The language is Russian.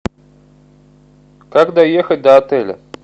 как доехать до отеля